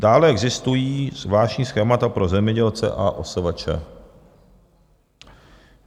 Dále existují zvláštní schémata pro zemědělce a OSVČ.